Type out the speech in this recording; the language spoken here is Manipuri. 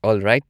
ꯑꯣꯜꯔꯥꯏꯠ꯫